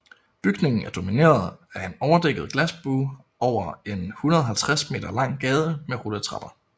Bygningen er domineret af en overdækket glasbue over en 150 m lang gade med rulletrapper